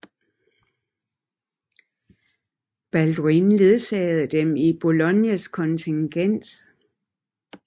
Balduin ledsagede dem i Boulognes kontingent